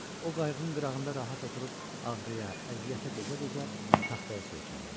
O qayığın qırağında rahat oturub ağrıya, əziyyətə dözə-dözə taxtaya söykəndi.